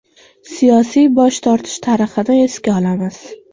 Siyosiy bosh tortish tarixini esga olamiz.